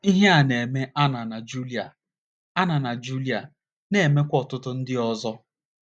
Ihe a na - eme Anna na Julia Anna na Julia na - emekwa ọtụtụ ndị ọzọ.